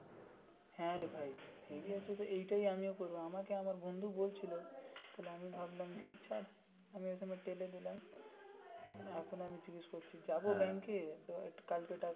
হা রে ভাই হেব্বি এইটা আমিও করবো আমার বন্ধু বলছিলো আমি ভাবলাম যাক আমি ওখানে টেলে দিলাম তাই এখন জিজ্ঞাসা করছি যাবো ব্যাংকে তো কালকে.